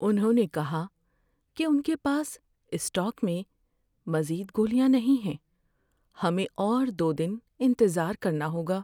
انہوں نے کہا کہ ان کے پاس اسٹاک میں مزید گولیاں نہیں ہیں۔ ہمیں اور دو دن انتظار کرنا ہوگا۔